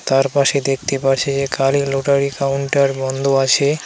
তার পাশে দেখতে পারছি যে কালী লটারি কাউন্টার বন্ধ আছে .